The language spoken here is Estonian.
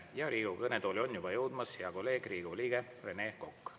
Ja Riigikogu kõnetooli on juba jõudmas hea kolleeg, Riigikogu liige Rene Kokk.